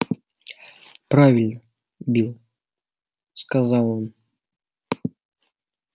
правильно билл сказал он